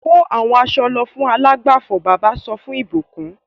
Kó àwọn aṣọ lọ fún alágbàfọ̀! Bàbá sọ fún ìbùkún.